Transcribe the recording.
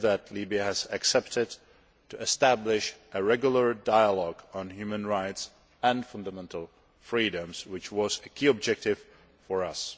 Libya has agreed to establish a regular dialogue on human rights and fundamental freedoms, which was a key objective for us.